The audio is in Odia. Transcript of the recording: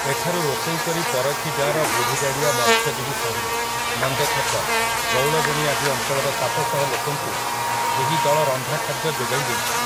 ଏଠାରୁ ରୋଷେଇ କରି ପରିଖି ଗାଁର ବୁଢୀ଼ଗାଡି଼ଆ ମତ୍ସ୍ୟଜୀବୀ ସାହି, ନନ୍ଦଛକ, ବଉଳବେଣୀ ଆଦି ଅଞ୍ଚଳର ସାତଶହ ଲୋକଙ୍କୁ ଏହି ଦଳ ରନ୍ଧା ଖାଦ୍ୟ ଯୋଗାଇ ଦେଇଛି ।